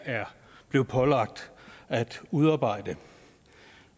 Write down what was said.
er blevet pålagt at udarbejde